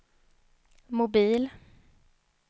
mobil